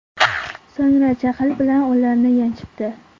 So‘ngra jahl bilan ularni yanchibdi.